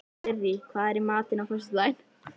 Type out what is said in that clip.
Sirrí, hvað er í matinn á föstudaginn?